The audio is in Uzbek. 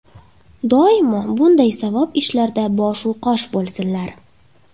Doimo bunday savob ishlarda boshu qosh bo‘lsinlar!